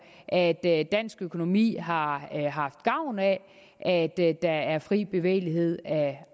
at dansk økonomi har haft gavn af at der er fri bevægelighed af